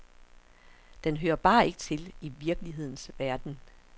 Den hører bare ikke til i virkelighedens verden.